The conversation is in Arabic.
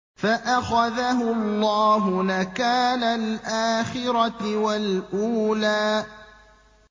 فَأَخَذَهُ اللَّهُ نَكَالَ الْآخِرَةِ وَالْأُولَىٰ